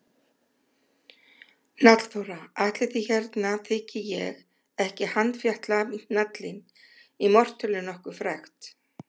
Hnallþóra: Ætli því hérna þyki ég ekki handfjatla hnallinn í mortélinu nokkuð frekt.